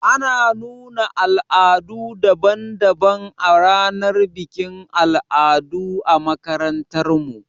Ana nuna al'adu daban daban a ranar bikin al'adu a makarantar mu